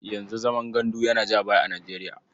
Yanzu zaman gandu yana ja baya a Nijeriya.